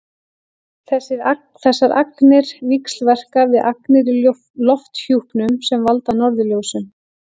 þessar agnir víxlverka við agnir í lofthjúpnum sem valda norðurljósum